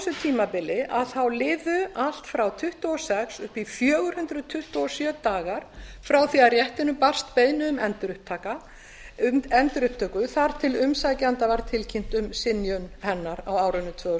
þessu tímabili liðu allt frá tuttugu og sex upp í fjögur hundruð tuttugu og sjö dagar frá því að réttinum barst beiðni um endurupptöku og þar til umsækjanda var tilkynnt um synjun hennar á árunum tvö þúsund